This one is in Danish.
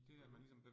Okay